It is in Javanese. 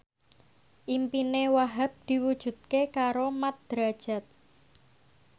impine Wahhab diwujudke karo Mat Drajat